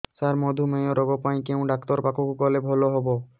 ସାର ମଧୁମେହ ରୋଗ ପାଇଁ କେଉଁ ଡକ୍ଟର ପାଖକୁ ଗଲେ ଭଲ ହେବ